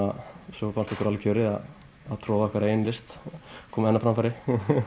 svo fannst okkur alveg kjörið að troða okkar eigin list koma henni á framfæri